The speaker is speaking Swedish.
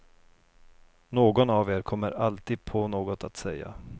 Någon av er kommer alltid på något att säga.